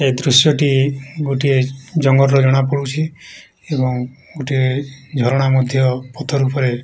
ଏଦୃଶ୍ୟ ଟି ଗୋଟିଏ ଜଙ୍ଗଲ ରୁ ଜଣା ପଡ଼ୁଚି। ଏବଂ ଗୋଟିଏ ଝରଣା ମଧ୍ୟ୍ୟ ପଥର ଉପରେ --